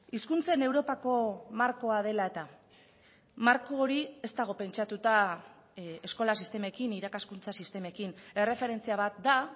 hizkuntzen europako markoa dela eta marko hori ez dago pentsatuta eskola sistemekin irakaskuntza sistemekin erreferentzia bat da